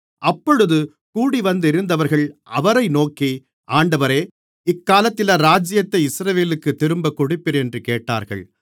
அப்பொழுது கூடிவந்திருந்தவர்கள் அவரை நோக்கி ஆண்டவரே இக்காலத்திலா ராஜ்யத்தை இஸ்ரவேலுக்குத் திரும்பக் கொடுப்பீர் என்று கேட்டார்கள்